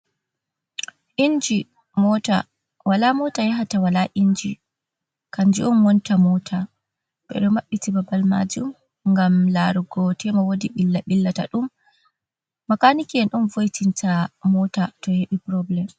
Inji mota. Wala mota yahata wala inji, kanjum on wonta mota. Ɓeɗo maɓɓiti babal majum ngam larugo tema wodi ɓilla ɓillataɗum. Makaaniki en on vo, itinta mota to heɓi purobulem.